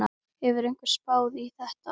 Hefur einhver spáð í þetta?